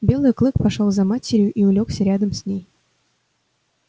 белый клык пошёл за матерью и улёгся рядом с ней